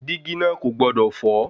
Dígí náà kò gbọdọ̀ fọ́.